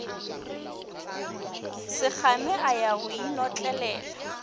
sekgame a ya go inotlelela